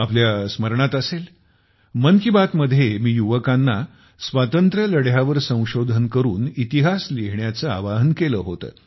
आपल्या स्मरणात असेल मन की बात मध्ये मी युवकांना स्वातंत्र्य लढ्यावर संशोधन करून इतिहास लिहिण्याचे आवाहन केले होते